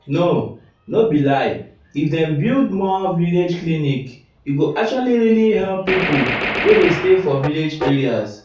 no no be lie if dem build more village clinic e go actually really help pipo wey dey stay for village areas.